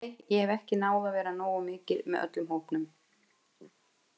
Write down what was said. Nei, ég hef ekki náð að vera nógu mikið með öllum hópnum.